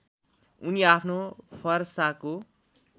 उनी आफ्नो फरसाको